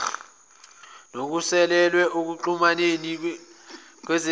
nosuselwe ekuxhumaneni kezizinda